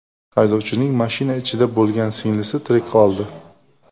Haydovchining mashina ichida bo‘lgan singlisi tirik qoldi.